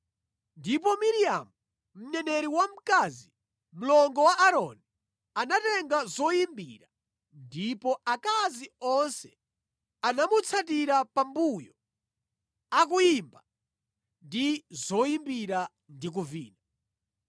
Ndipo Miriamu mneneri wamkazi, mlongo wa Aaroni anatenga zoyimbira ndipo akazi onse anamutsatira pambuyo, akuyimba ndi zoyimbira ndi kuvina.